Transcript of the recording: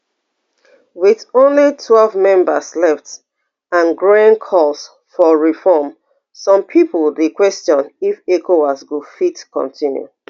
wit only twelve members left and growing calls for reform some pipo dey question if ecowas go fit continue